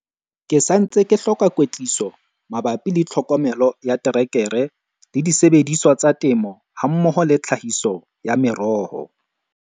Ke sa ntse be hloka kwetliso mabapi le tlhokomelo ya terekere le disebediswa tsa temo hammoho le tlhahiso ya meroho.